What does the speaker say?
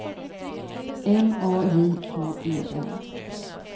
M A J K E N